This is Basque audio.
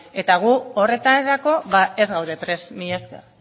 eta gu horretarako ez gaude prest mila esker